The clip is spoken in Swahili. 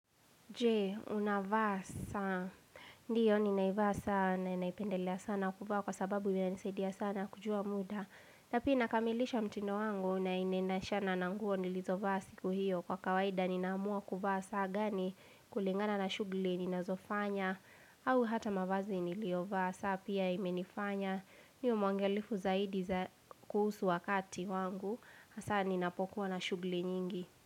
Je, unavaa saa. Ndio, ninaivaa saa na inaipendelea sana kuvaa kwa sababu yanisaidia sana kujua muda. Napia inakamilisha mtindo wangu na inenashana na nguo nilizovaa si kuhio kwa kawaida ninaamua kuvaa saa gani kulingana na shugli ninazofanya au hata mavazi niliovaasaa pia imenifanya niwe muangalifu zaidi kuhusu wakati wangu hasa ninapokuwa na shugli nyingi.